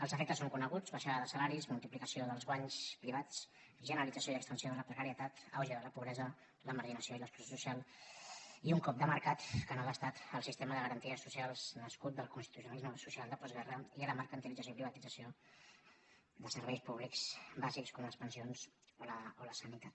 els efectes són coneguts baixada de salaris multipli·cació dels guanys privats generalització i extensió de la precarietat auge de la pobresa la marginació i l’ex·clusió social i un cop de mercat que no d’estat al sis·tema de garanties socials nascut del constitucionalisme social de postguerra i a la mercantilització i privatit·zació de serveis públics bàsics com les pensions o la sanitat